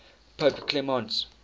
pope clement